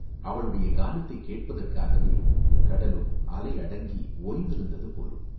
அவளுடைய கானத்தைக் கேட்பதற்காகவே கடலும் அலை அடங்கி ஓய்ந்திருந்தது போலும்!